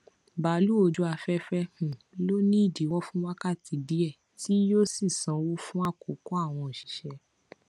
bàálù ojú afẹfẹ um ló ni idiwọ fun wákàtí díẹ tí yíò sì sanwó fún àkókò àwọn òṣìṣẹ